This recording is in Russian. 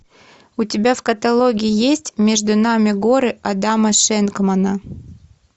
у тебя в каталоге есть между нами горы адама шенгмана